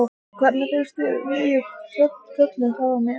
Hvernig finnst þér nýi kjóllinn fara mér?